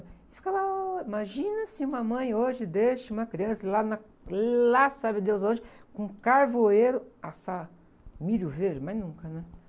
E ficava hora... Imagina se uma mãe hoje deixa uma criança lá na, lá sabe deus onde, com carvoeiro assar milho verde, mas nunca, né?